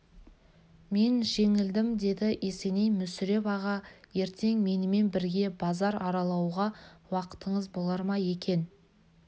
мен жеңілдім деді есеней мүсіреп аға ертең менімен бірге базар аралауға уақытыңыз болар ма екен